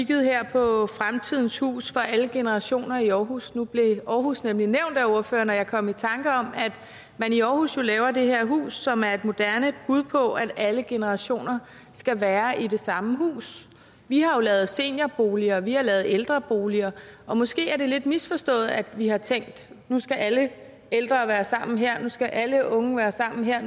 på fremtidens hus for alle generationer i aarhus nu blev aarhus nemlig nævnt af ordføreren og jeg kom i tanker om at man i aarhus jo laver det her hus som er et moderne bud på at alle generationer skal være i det samme hus vi har jo lavet seniorboliger og vi har lavet ældreboliger og måske er det lidt misforstået at vi har tænkt at nu skal alle ældre være sammen her og nu skal alle unge være sammen her